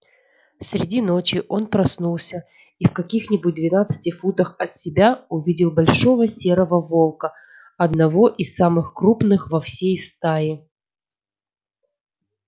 среди ночи он проснулся и в каких нибудь двенадцати футах от себя увидел большого серого волка одного из самых крупных во всей стае